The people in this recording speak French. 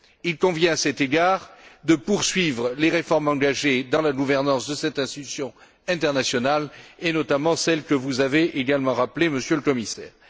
Il convient, à cet égard, de poursuivre les réformes engagées dans la gouvernance de cette institution internationale, et notamment celles que vous avez également rappelées, Monsieur le Commissaire.